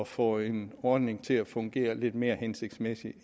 få en ordning til at fungere lidt mere hensigtsmæssigt